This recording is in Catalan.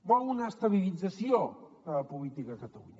vol una estabilització de la política a catalunya